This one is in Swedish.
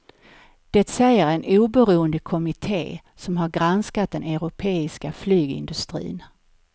Det säger en oberoende kommitte som har granskat den europeiska flygindustrin.